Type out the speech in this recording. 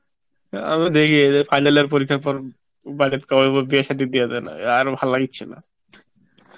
আমি দেখি, এই যে final year পরীক্ষার পর বাড়িতে কব বিয়ে সাদি দিয়া দেন আর ভালো লাগিচ্ছএ না